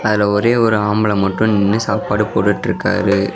அதுல ஒரே ஒரு ஆம்பள மட்டு நின்னு சாப்பாடு போட்டுட்டுருக்காரு.